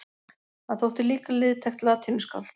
Hann þótti líka liðtækt latínuskáld.